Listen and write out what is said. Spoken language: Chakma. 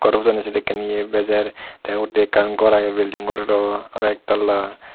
ghor pujoni yea sedekkin bejer the undi ekkan ghor age building ghor aro ek tala.